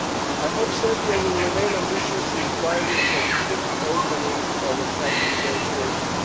I hope Serbia will remain ambitious in striving for the quick opening of accession negotiations.